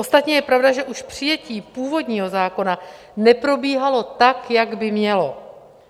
Ostatně je pravda, že už přijetí původního zákona neprobíhalo tak, jak by mělo.